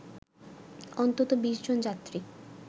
অন্তত ২০ জন যাত্রী